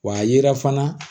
Wa a ye fana